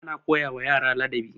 ana koyawa yara ladabi